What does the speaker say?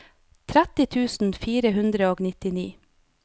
tretti tusen fire hundre og nittini